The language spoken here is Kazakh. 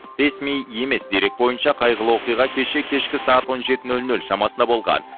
ресми емес дерек бойынша қайғылы оқиға кеше кешке сағат он жеті нөл нөл шамасында болған